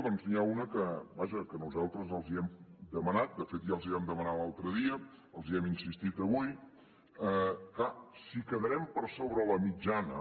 doncs n’hi ha una que vaja nosaltres els hem demanat de fet ja els ho vam demanar l’altre dia els hi hem insistit avui clar si quedarem per sobre la mitjana